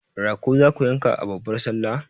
Rago zaku yanka a babbar sallah?